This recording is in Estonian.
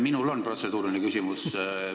Minul on protseduuriline küsimus.